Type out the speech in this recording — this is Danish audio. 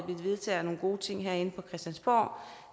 vedtager nogle gode ting herinde på christiansborg